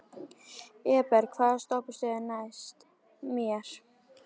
Eberg, hvaða stoppistöð er næst mér?